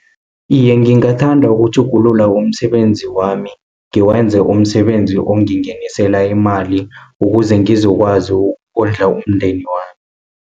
Iye ngingathanda ukutjhugulula umsebenzi wami, ngiwenze umsebenzi ongingenisela imali, ukuze ngizokwazi ukondla umndeni wami.